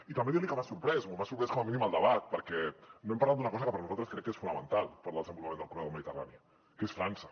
i també dir li que m’ha sorprès o m’ha sorprès com a mínim el debat perquè no hem parlat d’una cosa que per nosaltres crec que és fonamental per al desenvolupament del corredor mediterrani que és frança